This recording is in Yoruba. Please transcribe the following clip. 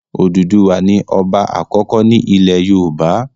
Odùduwà ní ọba àkọ́kọ́ ní ilẹ̀ yoòbá